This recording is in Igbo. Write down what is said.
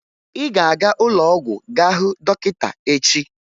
Ị ga-aga ụlọọgwụ gá hụ dọkịta echi!